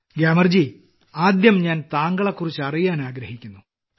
ഗ്യാമർജി ആദ്യം ഞാൻ താങ്കളെക്കുറിച്ച് അറിയാൻ ആഗ്രഹിക്കുന്നു